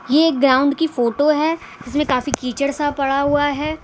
ये एक ग्राउंड की फोटो है इसमें काफी कीचड़ सा पड़ा हुआ है।